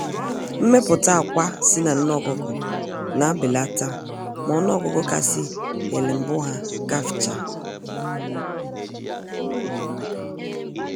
Mmepụta akwa si na nne ọkụkọ na belata ma ọnụ ọgụgụ kasị ele mbụ ha gafchaa